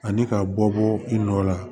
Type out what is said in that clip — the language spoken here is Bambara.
Ani ka bɔ bɔ i nɔ la